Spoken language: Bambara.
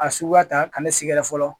K'a suguya ta ka ne sigɛrɛ fɔlɔ